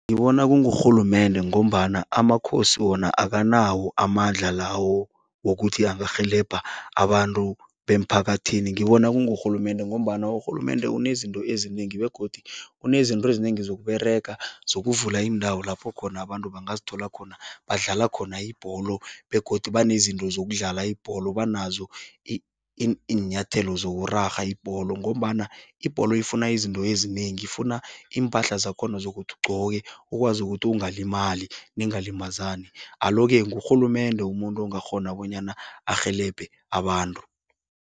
Ngibona kungurhulumende ngombana amakhosi wona akanawo amandla lawo wokuthi angarhelebha abantu bemphakathini. Ngibona kurhulumende ngombana urhulumende unezinto ezinengi begodu unezinto ezinengi zokUberega, zokuvula iindawo lapho khona abantu bangazithola khona badlala khona ibholo begodu banezinto zokudlala ibholo, banazo iinyathelo zokurarha ibholo ngombana ibholo ifuna izinto ezinengi. Ifuna iimpahla zakhona zokuthi ugqoke, ukwazi ukuthi ungalimali, ningalimazani. Alo-ke, ngurhulumende umuntu ongakghona bonyana arhelebhe abantu.